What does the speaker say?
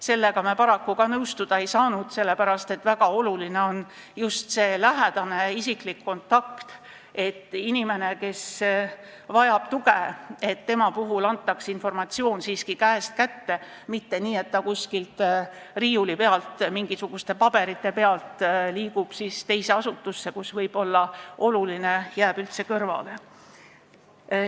Sellega me ka paraku nõustuda ei saanud, sest väga oluline on just see lähedane isiklik kontakt, et inimese kohta, kes vajab tuge, antaks informatsiooni siiski käest kätte, mitte nii, et info on kuskil riiulil mingisuguste paberite peal ja liigub siis teise asutusse, nii et oluline asi jääb võib-olla üldse kõrvale.